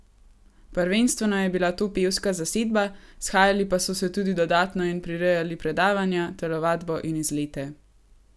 Prvenstveno je bila to pevska zasedba, shajali pa so se tudi dodatno in prirejali predavanja, telovadbo in izlete.